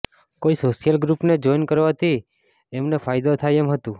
કોઈ સોશિયલ ગ્રુપને જોઈન કરવાથી એમને ફાયદો થાય એમ હતું